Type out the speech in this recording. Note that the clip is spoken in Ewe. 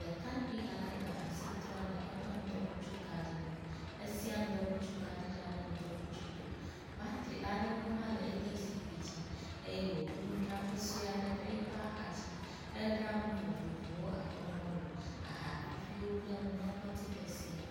Ɖekakpui aɖe le asi trɔm le eƒe ŋdɔkutsukaɖi nu. Esia ŋdɔkutsukaɖi la ɖe ŋdɔkutsu gbe. Batri aɖewo hã le eƒe zikpui dzi eye woɖo nudzraƒe sue aɖe ɖe yi ƒe axa dzi. edra nu vovovowo abe mɔlu, aha viviwo kple numeklɔtsike sia.